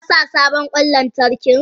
Kasa sabon kwan lanark in?